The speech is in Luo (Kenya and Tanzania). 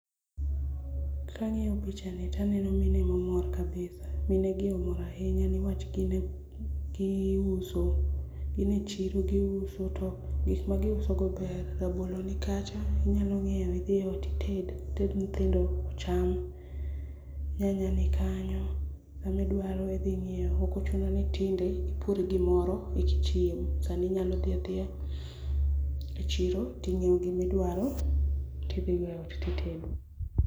Kang'iyo pichani taneno mine mamor kabisa minegi omor ahinya niwach giuso, gin echiro giuso to gik magiusogo ber, rabolo nikacha inyalo ng'iewo idhi eot ited, ited nyithindo ocham. Nyanya nikanyo gimidwaro idhi ng'iewo ok ochuno ni tinde ipur gimoro ekichiem, sani inyalo dhi adhiya echiro ting'iewo gimidwaro tidhigo eot titedo. Kang'iyo pichani taneno mine mamor kabisa minegi omor ahinya niwach gine, giuso, gin echiro giuso to gik magiusogo ber, rabolo nikacha inyalo ng'iewo idhi eot ited, ited nyithindo ocham. Nyanya be nikanyo gimidwaro idhi ng'iewo ok ochuno ni tinde ipur gimoro ekichiem, sani inyalo dhi adhiya echiro ting'iewo gimidwaro tidhigo eot titedo.